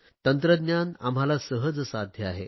तंत्रज्ञान आम्हाला सहज साध्य आहे